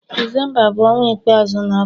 Disemba bu onwa ikpeazu na afo